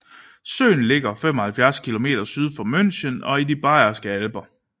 Søen ligger 75 km syd for München i de Bayerske Alper